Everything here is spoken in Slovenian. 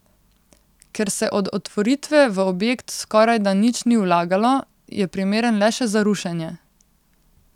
Ker se od otvoritve v objekt skorajda nič ni vlagalo, je primeren le še za rušenje.